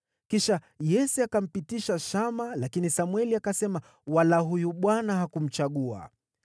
Kisha Yese akampitisha Shama, lakini Samweli akasema, “Wala huyu Bwana hakumchagua.”